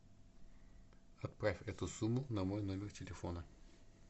отправь эту сумму на мой номер телефона